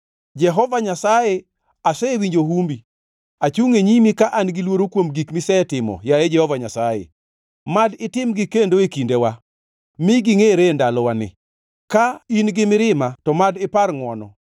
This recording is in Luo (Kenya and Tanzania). Jehova Nyasaye, asewinjo humbi; achungʼ e nyimi ka an-gi luoro kuom gik misetimo, yaye Jehova Nyasaye. Mad itimgi kendo e kindewa, mi gingʼere e ndalowani; ka in gi mirima to mad ipar ngʼwono.